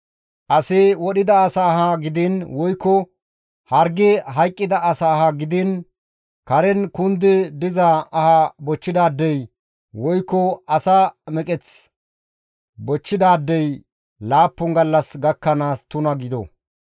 Asi wodhida asa aha gidiin woykko hargi hayqqida asa aha gidiin Karen kundi diza aha bochchidaadey woykko asa meqeth bochchidaadey laappun gallas gakkanaas tuna gido.